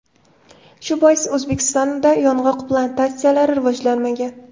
Shu bois O‘zbekistonda yong‘oq plantatsiyalari rivojlanmagan.